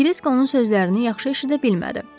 Krisk onun sözlərini yaxşı eşidə bilmədi.